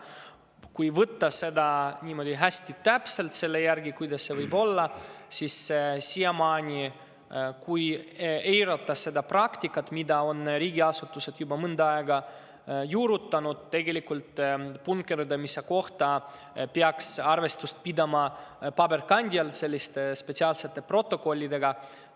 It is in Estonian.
Kui võtta seda niimoodi hästi täpselt selle järgi, kuidas see võib olla, siis, kui eirata seda praktikat, mida riigiasutused on juba mõnda aega juurutanud, peaks punkerdamise kohta siiamaani arvestust pidama tegelikult paberil spetsiaalsete protokollidega.